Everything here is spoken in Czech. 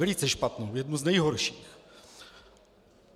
Velice špatnou, jednu z nejhorších.